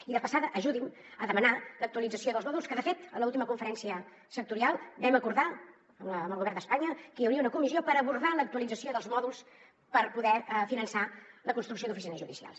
i de passada ajudin a demanar l’actualització dels mòduls que de fet en l’última conferència sectorial vam acordar amb el govern d’espanya que hi hauria una comissió per abordar l’actualització dels mòduls per poder finançar la construcció d’oficines judicials